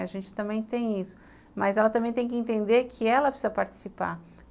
A gente também tem isso, mas ela também tem que entender que ela precisa participar.